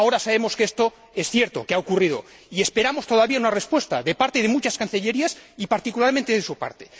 Ahora sabemos que esto es cierto, que ha ocurrido, y esperamos todavía una respuesta de parte de muchas cancillerías y, particularmente, de su parte.